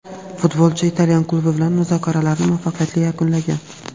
Futbolchi italyan klubi bilan muzokaralarni muvaffaqiyatli yakunlagan;.